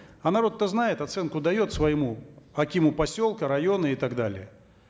а народ то знает оценку дает своему акиму поселка района и так далее